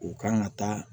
U kan ka taa